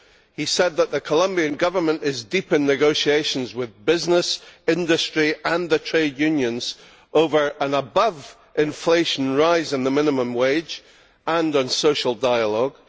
He said that the Colombian Government is deep in negotiations with business, industry and the trade unions over an above inflation rise in the minimum wage, and on social dialogue.